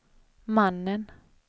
mannen